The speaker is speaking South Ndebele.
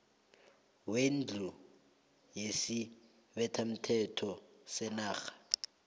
wendlu yesibethamthetho senarha